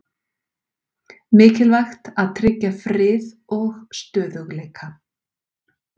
Mikilvægt að tryggja frið og stöðugleika